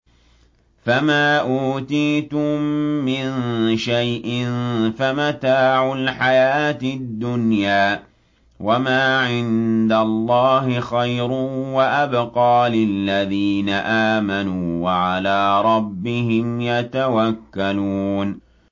فَمَا أُوتِيتُم مِّن شَيْءٍ فَمَتَاعُ الْحَيَاةِ الدُّنْيَا ۖ وَمَا عِندَ اللَّهِ خَيْرٌ وَأَبْقَىٰ لِلَّذِينَ آمَنُوا وَعَلَىٰ رَبِّهِمْ يَتَوَكَّلُونَ